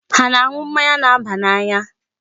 Ha ana-aṅụ mmanya na-aba n'anya?